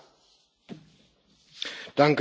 Herr Präsident, Herr Kommissar!